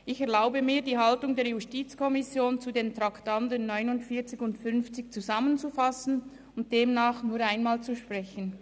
Ich erlaube mir, die Haltung der JuKo zu den Traktanden 49 und 50 zusammenzufassen und demnach nur einmal zu sprechen.